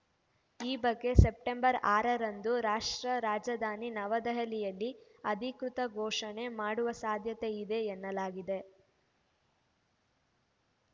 ಈ ಬಗ್ಗೆ ಸೆಪ್ಟೆಂಬರ್‌ ಆರರಂದು ರಾಷ್ಟ್ರ ರಾಜಧಾನಿ ನವದೆಹಲಿಯಲ್ಲಿ ಅಧಿಕೃತ ಘೋಷಣೆ ಮಾಡುವ ಸಾಧ್ಯತೆಯಿದೆ ಎನ್ನಲಾಗಿದೆ